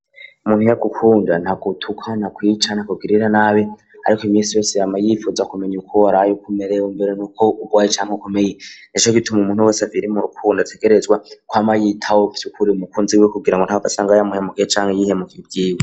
Umuntu ya gukunda nta kutuka na kwica nta kugirira nabi ariko iminsi yose yama yipfuza kumenya uko waraye uko umerewe mbere nuko urwaye canke ukomeye nico gituma umuntu wese akiri mu rukundo ategerezwa kwama yitaho vyukuri umukunzi we kugira ngo ntahave asanga yamuhemukye canke yihemukiye ubwiwe.